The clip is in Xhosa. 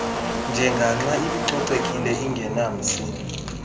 njengaxa ibicocekile ingenamsi